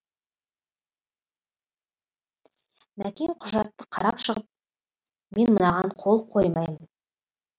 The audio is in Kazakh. мәкең құжатты қарап шығып мен мынаған қол қоймаймын